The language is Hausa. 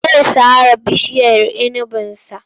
Zai sare bishiyar inibinsa.